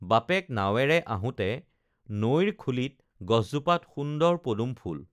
বাপেক নাৱেৰে আহোঁতে নৈৰ খূলিত গছজোপাত সুন্দৰ পদুম ফুল